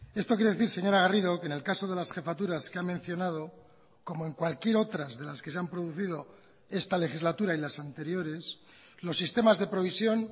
esto quiere decir señora garrido que en el caso de las jefaturas que ha mencionado como en cualquier otras de las que se han producido esta legislatura y las anteriores los sistemas de provisión